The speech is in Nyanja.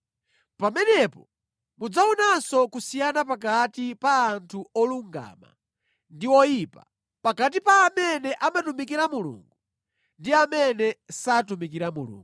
Pamenepo mudzaonanso kusiyana pakati pa anthu olungama ndi oyipa, pakati pa amene amatumikira Mulungu ndi amene satumikira Mulungu.”